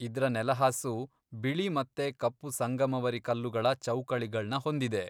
ಇದ್ರ ನೆಲಹಾಸು ಬಿಳಿ ಮತ್ತೆ ಕಪ್ಪು ಸಂಗಮವರಿ ಕಲ್ಲುಗಳ ಚೌಕಳಿಗಳ್ನ ಹೊಂದಿದೆ.